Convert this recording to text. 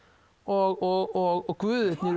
og guðirnir í